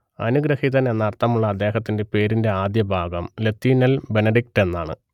അനുഗ്രഹീതൻ എന്നർത്ഥമുള്ള അദ്ദേഹത്തിന്റെ പേരിന്റെ ആദ്യഭാഗം ലത്തീനിൽ ബെനഡിക്ട് എന്നാണ്